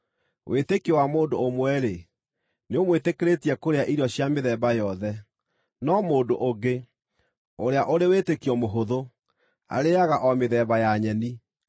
Wĩtĩkio wa mũndũ ũmwe-rĩ, nĩũmwĩtĩkĩrĩtie kũrĩa irio cia mĩthemba yothe, no mũndũ ũngĩ, ũrĩa ũrĩ wĩtĩkio mũhũthũ, arĩĩaga o mĩthemba ya nyeni.